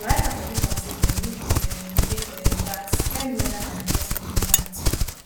we write am for paper say dem no go um pay um tax tell me weda na investment be dat